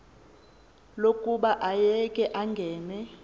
lokuba ayeke angene